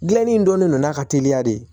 Gilanni in dɔnnen don n'a ka teliya de ye